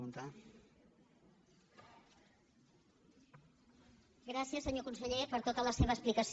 gràcies senyor conseller per tota la seva explicació